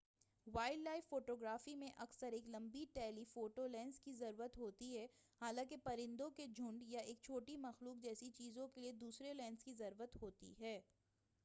wild life photography میں اکثر ایک لمبی ٹیلی فوٹو لینس کی ضرورت ہوتی ہے حالانکہ پرندوں کے جھنڈ یا ایک چھوٹی مخلوق جیسی چیزوں کے لئے دوسرے لینس کی ضرورت ہوتی ہے